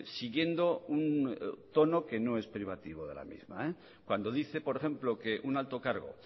siguiendo un tono que no es privativo de la misma cuando dice por ejemplo que un alto cargo